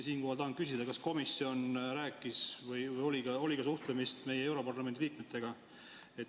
Siinkohal tahan küsida, kas komisjon rääkis või oli ka suhtlemist meie europarlamendi liikmetega.